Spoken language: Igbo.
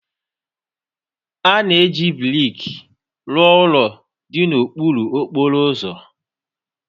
A na-eji brik rụọ ụlọ dị n'okpuru okporo ụzọ